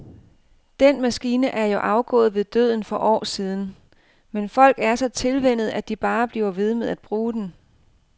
Den maskine er jo afgået ved døden for år siden, men folk er så tilvænnet, at de bare bliver ved med at bruge den.